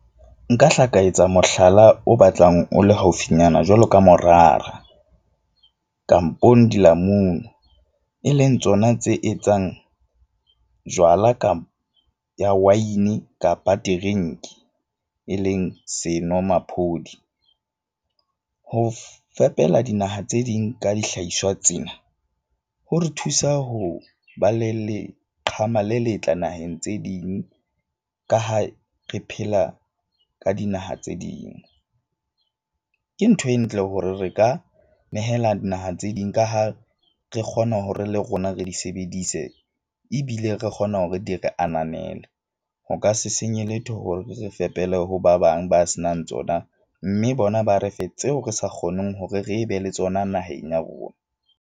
Nka hla ka etsa mohlala o batlang o le haufinyana jwalo ka morara, kampong dilamunu. E leng tsona tse etsang jwala ka ya win-e kapa drink-i. E leng senomaphodi ho fepela dinaha tse ding ka dihlahiswa tsena, ho re thusa ho ba le leqhama le letle naheng tse ding. Ka ha re phela ka dinaha tse ding. Ke ntho e ntle hore re ka nehela dinaha tse ding. Ka ha re kgona hore le rona re di sebedise. Ebile re kgona hore di re ananele. Ho ka se senye letho hore re fepele ho ba bang ba senang tsona, mme bona ba re fe tseo re sa kgoneng hore re be le tsona naheng ya rona.